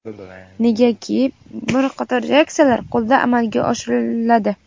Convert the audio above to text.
negaki bir qator reaksiyalar qo‘lda amalga oshiriladi.